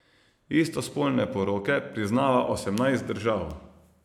Istospolne poroke priznava osemnajst držav.